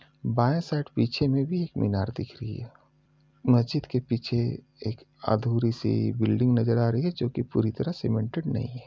बाएं साइड पीछे में भी एक मीनार दिख रही है | मस्जिद के पीछे एक अधूरी सी बिल्डिंग नज़र आ रही है जो कि पूरी तरह सीमेंटेड नहीं है।